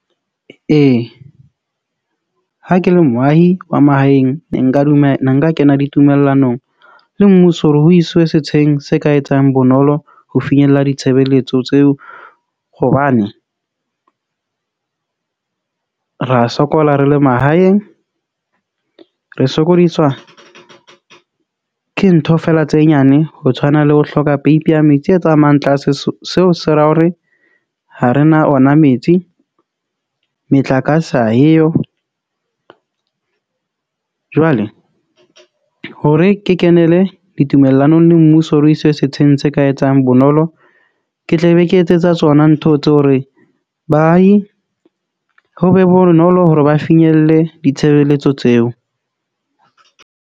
Ee, ha ke le moahi wa mahaeng ne nka dumela ne nka kena ditumellanong le mmuso, hore ho iswe setsheng se ka etsang bonolo ho finyella ditshebeletso tseo, hobane ra sokola re le mahaeng. Re sokodiswa ke ntho fela tse nyane. Ho tshwana le ho hloka peipi ya metsi e tsamayang tlase. Seo se ra hore ha rena ona metsi, metlakase ha eyo. Jwale hore ke kenele ditumellanong le mmuso, re iswe setsheng se ka etsang bonolo. Ke tle be ke etsetsa tsona ntho tse hore baahi ho be bonolo hore ba finyelle ditshebeletso tseo.